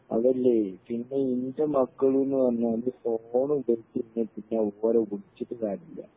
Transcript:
അതല്ലെ പിന്നെ ഇൻ്റെ മക്കളിന്ന് പറഞ്ഞാൽ ഫോൺ ഉപയോഗിക്കണ്ടെങ്കി പിന്നെ അവരെ വിളിച്ചിട്ട് കാര്യല്ല്യ